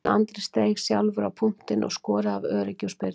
En Andri steig sjálfur á punktinn og skoraði af öryggi úr spyrnunni.